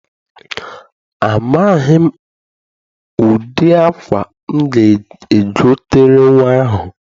Amaghị m ụdị akwa m ga-egotere nnwa ahụ.